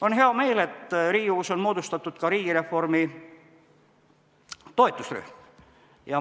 On hea meel, et Riigikogus on moodustatud riigireformi toetusrühm.